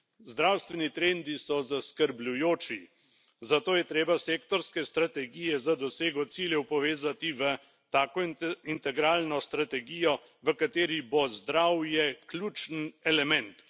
Zdravstveni trendi so zaskrbljujoči, zato je treba sektorske strategije za dosego ciljev povezati v tako integralno strategijo, v kateri bo zdravje ključen element.